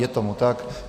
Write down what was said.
Je tomu tak.